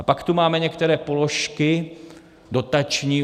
A pak tu máme některé položky dotační.